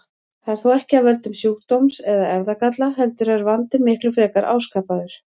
Það er þó ekki af völdum sjúkdóms eða erfðagalla heldur er vandinn miklu frekar áskapaður.